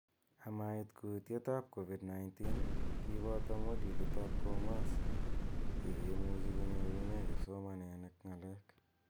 Amait kutiet ab covid 19, kiboto modulit ab commerce yekimuchi konyorune kipsomaninik ng'alek